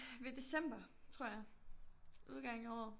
Ved december tror jeg udgangen af året